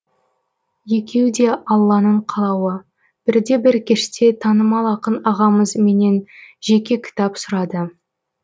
екеуі де алланың қалауы бірде бір кеште танымал ақын ағамыз менен жеке кітап сұрады